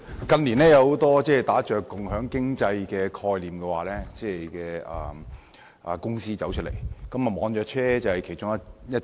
近年有很多打着共享經濟概念的公司應運而生，而網約車便是其中一種。